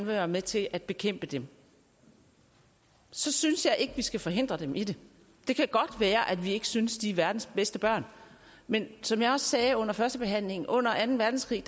være med til at bekæmpe dem så synes jeg ikke vi skal forhindre dem i det det kan godt være at vi ikke synes de er verdens bedste børn men som jeg også sagde under førstebehandlingen under anden verdenskrig